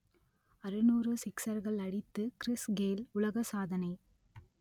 அறுநூறு சிக்சர்கள் அடித்து கிறிஸ் கெய்ல் உலக சாதனை